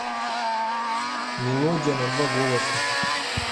мелодия на два голоса